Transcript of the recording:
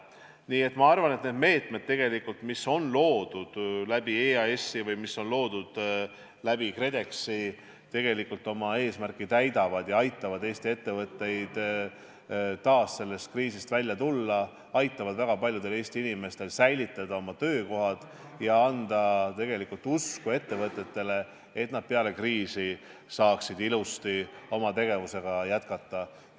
Nii et ma arvan, et need meetmed, mis on loodud EAS-i või KredExi kaudu, tegelikult oma eesmärki täidavad ja aitavad Eesti ettevõtetel sellest kriisist välja tulla, aitavad väga paljudel Eesti inimestel säilitada oma töökoha ja anda tegelikult usku ettevõtetele, et nad peale kriisi saaksid ilusasti oma tegevusega jätkata.